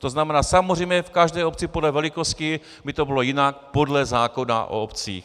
To znamená, samozřejmě v každé obci podle velikosti by to bylo jinak podle zákona o obcích.